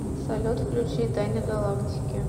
салют включи тайны галактики